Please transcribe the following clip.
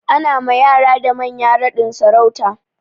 Ana ma yara da manya raɗin sarauta.